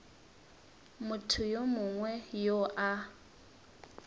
motho yo mongwe yo a